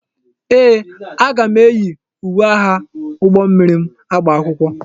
Ee, aga m eyi uwe agha ụgbọ mmiri m agba akwụkwọ.